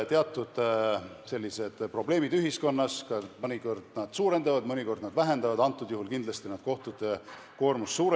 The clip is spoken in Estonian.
Teatud probleemid ühiskonnas mõnikord suurendavad, mõnikord vähendavad – praegusel juhul kindlasti suurendavad – kohtute koormust.